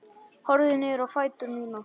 Horfi niður á fætur mína.